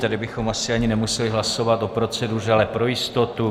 Tady bychom asi ani nemuseli hlasovat o proceduře, ale pro jistotu.